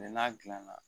n'a gilanna